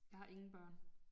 Jeg har ingen børn